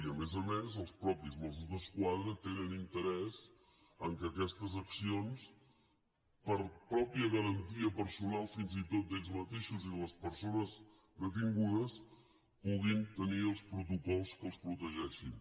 i a més a més els mateixos mossos d’esquadra tenen interès que aquestes accions per pròpia garantia personal fins i tot d’ells mateixos i de les persones detingudes puguin tenir els protocols que els protegeixin